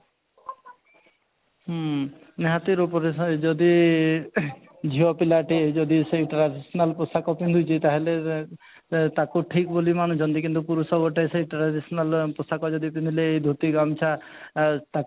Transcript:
ହୁଁ ନିହାତି ରୂପରେ ସେହି ଯଦି ଝିଅ ପିଲାଟି ଯଦି ସେଇ traditional ପୋଷାକ ପିନ୍ଧିଛି ତାହେଲେ ଅଃ ତାକୁ ଠିକ ବୋଲି ମାନୁଛନ୍ତି କିନ୍ତୁ ପୁରୁଷ ଗୋଟେ ସେଇ traditional ପୋଷାକ ଯଦି ପିନ୍ଧିଲେ ଧୋତି ଗାମୁଛା ଆଃ ତା